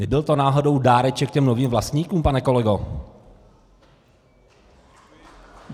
Nebyl to náhodou dáreček těm novým vlastníkům, pane kolego?